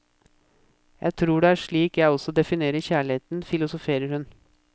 Jeg tror det er slik jeg også definerer kjærligheten, filosoferer hun.